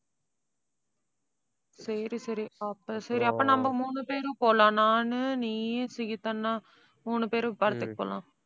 சரி, சரி. அப்ப சரி அப்ப நம்ம மூணு பேரும் போலாம். நானு, நீயி சிகித் அண்ணா மூணு பேரும், படத்துக்கு போலாம்.